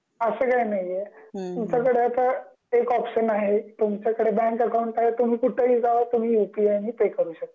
तुमच्याकडे आता एक ऑपशन आहे तुमचा कडे बँक अकॉउंट आहे तुम्ही कुठेही जावा तुम्ही यू पी आय नी पे करू शकता